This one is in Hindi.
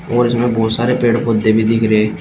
और इसमें बहुत सारे पेड़ पौधे भी दिख रहे।